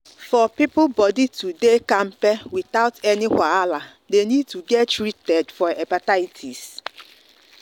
for people body to dey kampe without any wahala they need to get treatment for hepatitis.